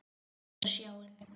Horfði út á sjóinn.